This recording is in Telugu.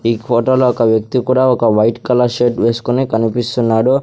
ఈ ఫోటోలో ఒక వ్యక్తి కూడా ఒక వైట్ కలర్ షర్ట్ వేసుకొని కనిపిస్తున్నాడు.